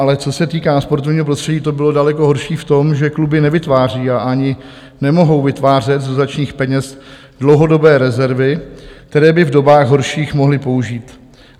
Ale co se týká sportovního prostředí, to bylo daleko horší v tom, že kluby nevytváří a ani nemohou vytvářet z dotačních peněz dlouhodobé rezervy, které by v dobách horších mohly použít.